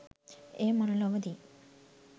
එය මනුලොවදී